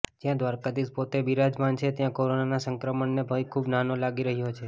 જ્યાં દ્વારકાધીશ પોતે બિરાજમાન છે ત્યાં કોરોનાના સંક્રમણનો ભય ખૂબ નાનો લાગી રહ્યો છે